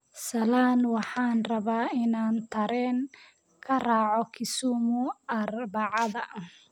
Salaan, waxaan rabaa inaan tareen ka raaco Kisumu Arbacada